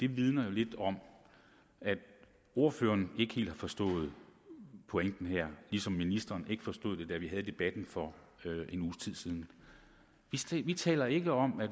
vidner lidt om at ordføreren ikke helt har forstået pointen her ligesom ministeren ikke forstod den da vi havde debatten for en uges tid siden vi taler ikke om at